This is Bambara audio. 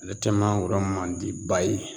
Ale tɛ mangoro man di ba ye